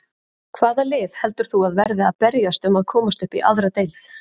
Hvaða lið heldur þú að verði að berjast um að komast upp í aðra deild?